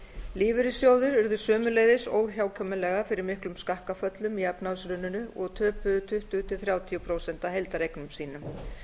lífeyrissjóðir urðu óhjákvæmilega fyrir miklum skakkaföllum í efnahagshruninu og töpuðu tuttugu til þrjátíu prósent af heildareignum sínum